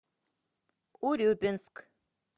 урюпинск